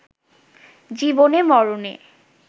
জীবনে-মরণে